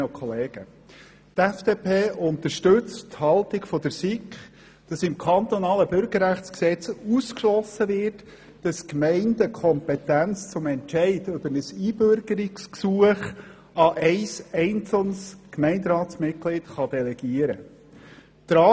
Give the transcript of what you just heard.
Die FDP unterstützt die Haltung der SiK, wonach im KBüG ausgeschlossen wird, dass die Gemeinden die Kompetenz über ein Einbürgerungsgesuch an ein einzelnes Gemeinderatsmitglied delegieren können.